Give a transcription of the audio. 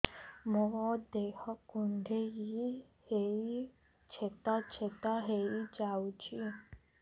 ମୋ ଦେହ କୁଣ୍ଡେଇ ହେଇ ଛେଦ ଛେଦ ହେଇ ଯାଉଛି